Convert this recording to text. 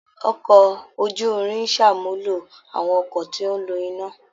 Ọkọ̀ ojú-irin ń ṣàmúlò àwọn ọkọ̀ tí ó ń lo iná